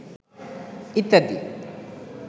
ইত্যাদি